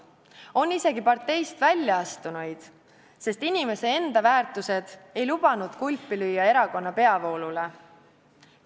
On isegi parteist välja astunuid, sest inimese enda väärtushinnangud ei lubanud kulpi lüüa erakonna peavoolule.